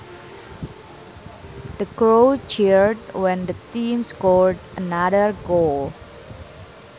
The crowd cheered when the team scored another goal